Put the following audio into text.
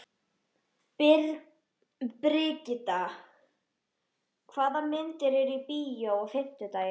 Brigitta, hvaða myndir eru í bíó á fimmtudaginn?